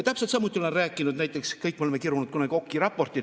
Täpselt samuti olen rääkinud sellest, et kõik me oleme kunagi kirunud näiteks Oki raportit.